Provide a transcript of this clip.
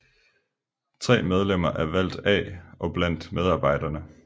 Tre medlemmer er valgt af og blandt medarbejderne